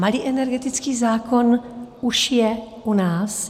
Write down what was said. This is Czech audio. Malý energetický zákon už je u nás.